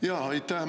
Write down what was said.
Aitäh!